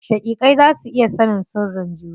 Shaƙiƙai za su iya sanin sirrin juna.